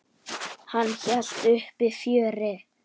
Hann hélt uppi fjöri.